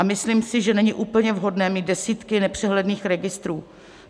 A myslím si, že není úplně vhodné mít desítky nepřehledných registrů.